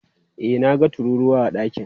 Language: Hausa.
E, na ga tururuwa a ɗakin.